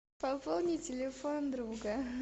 пополни телефон друга